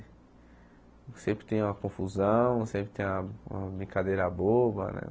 Sempre tem uma confusão, sempre tem uma uma brincadeira boba, né?